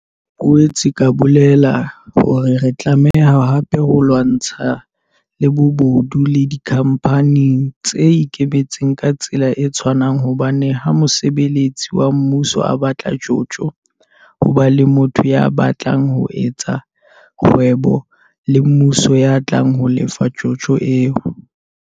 Ke boetse ka bolela hore re tla tlameha hape ho lwantsha le bobodu le dikhampaneng tse ikemetseng ka tsela e tshwanang hobane ha mosebeletsi wa mmuso a batla tjotjo, ho ba le motho ya batlang ho etsa kgwebo le mmuso ya tlang ho lefa tjotjo eo.